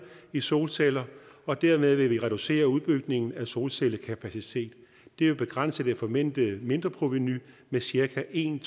i solceller og dermed vil vi reducere udbygningen af solcellekapacitet det vil begrænse det forventede mindreprovenu med cirka en